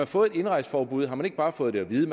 fået et indrejseforbud har man ikke bare fået det at vide